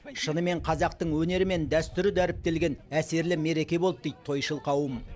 шынымен қазақтың өнері мен дәстүрі дәріптелген әсерлі мереке болды дейді тойшыл қауым